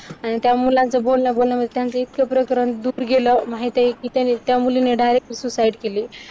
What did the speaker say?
आणि त्या मुलांचं बोलण्या बोलण्यामध्ये त्यांचं इतकं प्रकरण दूर गेलं. माहितेय कि त्या मुलीने directly susait केली.